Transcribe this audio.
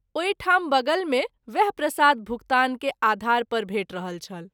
ओहि ठाम बगल मे वएह प्रसाद भुगतान के आधार पर भेट रहल छल।